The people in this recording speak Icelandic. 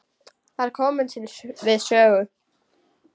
Þær komu við sögu.